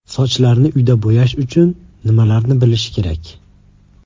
Sochlarni uyda bo‘yash uchun nimalarni bilish kerak?